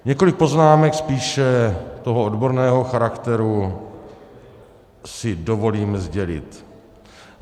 Několik poznámek spíše toho odborného charakteru si dovolím sdělit.